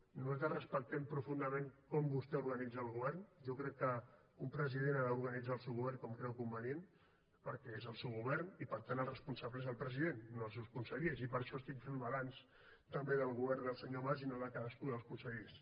i nosaltres respectem profundament com vostè organitza el govern jo crec que un president ha d’organitzar el seu govern com creu convenient perquè és el seu govern i per tant el responsable és el president no els seus consellers i per això estic fent balanç també del govern del senyor mas i no de cadascú dels consellers